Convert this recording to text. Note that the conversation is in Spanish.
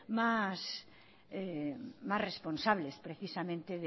más responsables precisamente